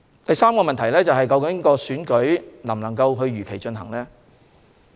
第三個問題是選舉能否如期進行。